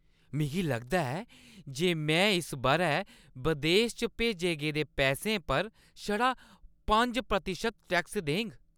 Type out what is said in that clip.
मिगी लगदा ऐ जे में इस बʼरै बदेस च भेजे गेदे पैसें उप्पर छड़ा पंज प्रतिशत टैक्स देङ।